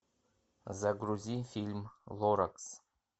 загрузи фильм лоракс